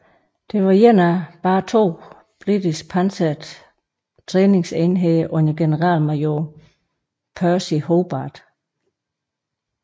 Det var en af blot to britiske pansrede træningsenheder under generalmajor Percy Hobart